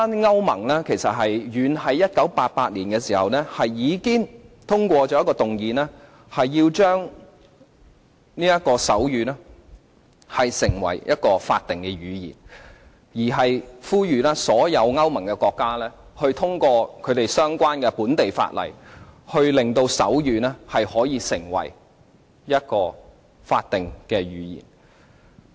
歐盟遠在1988年已經通過議案，令手語成為法定語言，並呼籲所有歐盟國家各自通過相關的本地法例，令手語成為法定語言。